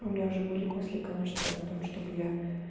у меня уже были мысли конечно о том чтобы я